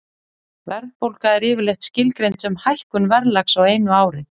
Verðbólga er yfirleitt skilgreind sem hækkun verðlags á einu ári.